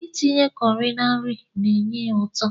Itinye kọri na nri ga-enye ya ụtọ.